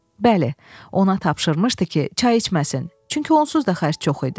Bəli, ona tapşırmışdı ki, çay içməsin, çünki onsuz da xərc çox idi.